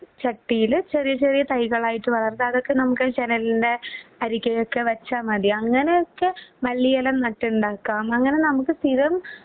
ചട്ടിയില് ചെറിയചെറിയ തൈകളായിട്ട് വളർത്തുക. അതൊക്കെ നമ്മുക്ക് ജനലിൻ്റെ അരികയൊക്കെ വെച്ച മതി. അങ്ങനെയൊക്കെ മല്ലിയെല നട്ടുണ്ടാക്കാം. അങ്ങനെ നമുക്ക് സ്ഥിരം